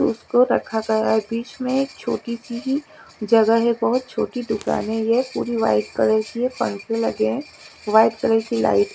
उसको रखा गया है बीच में एक छोटी सी जगह है बहोत छोटी दुकाने भी है पूरी व्हाइट कलर की है पंखे लगे हैं व्हाइट कलर की लाइ--